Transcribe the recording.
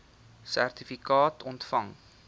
sertifikaat ontvang